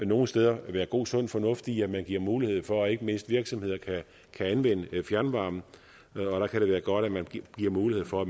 nogle steder være god sund fornuft i at man giver mulighed for at ikke mindst virksomheder kan anvende fjernvarme og der kan det være godt at man giver mulighed for at